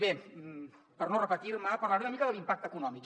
bé per no repetir me parlaré una mica de l’impacte econòmic